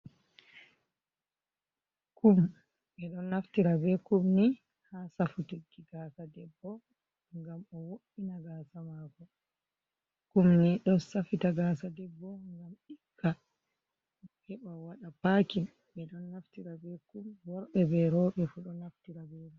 Kum, kum ni ɓe don naftira be kumni ha safutiji gasa debbo gam o wo’ina gasa mako kumni do safita gasa debbo gam dika heɓa waɗa pakin mi don naftira be kum worbe be robe fo don naftira be mai.